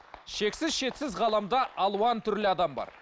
шексіз шетсіз ғаламда алуан түрлі адам бар